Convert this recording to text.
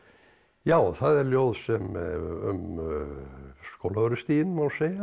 já það er ljóð um Skólavörðustíginn má segja